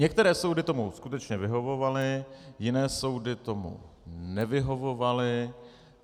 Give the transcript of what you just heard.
Některé soudy tomu skutečně vyhovovaly, jiné soudy tomu nevyhovovaly.